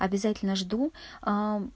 обязательно жду аа